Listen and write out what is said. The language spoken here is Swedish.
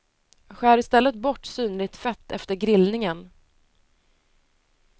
Skär i stället bort synligt fett efter grillningen.